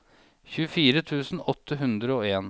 tjuefire tusen åtte hundre og en